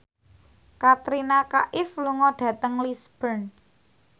Katrina Kaif lunga dhateng Lisburn